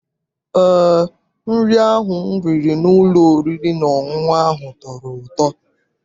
Eé, nri ahụ m riri n'ụlọ oriri na ọṅụṅụ ahụ tọrọ ụtọ.